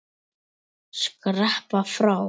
Skreppa frá?